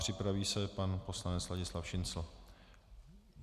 Připraví se pan poslanec Ladislav Šincl.